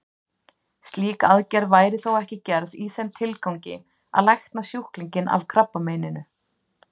Slík aðgerð væri þó ekki gerð í þeim tilgangi að lækna sjúklinginn af krabbameininu.